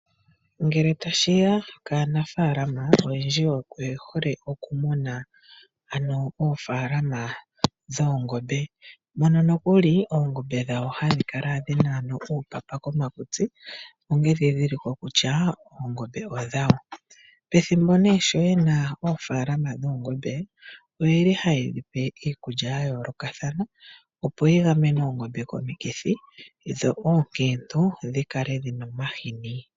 Ngele tashi ya kaanafalama oyendji oye hole okumuna ano oofaalama dhoongoombe. Mono nokuli oongombe dhawo hadhi kala dhina ano uupapa komakutsi onge edhidhiliko kutya, oongombe odhawo. Pethimbo nee sho yena oofaalama dhoongombe oye li ha ye dhi pe iikulya ya yoolokathana opo yi gamene oongombe komikithi dho oonkiintu dhi kale dhi na omahini.